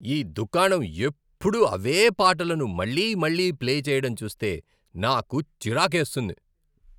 ఈ దుకాణం ఎప్పుడూ అవే పాటలను మళ్లీ మళ్లీ ప్లే చేయడం చూస్తే నాకు చిరాకేస్తుంది.